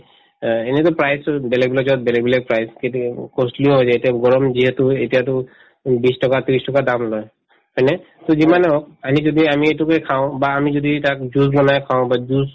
অ, এনেতো পাইছো বেলেগ বেলেগবিলাক price সেইটোয়ে costly ও হৈ যায় এতিয়া গৰম যিহেতু এতিয়াতো উম বিশ টকা ত্ৰিশ টকা দাম লই হয়নে to যিমানে হওক আনি যদি আমি এইটোকে খাওঁ বা আমি যদি তাক juice বনাই খাওঁ বা juice